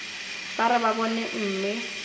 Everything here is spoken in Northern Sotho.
ba re ba bone mme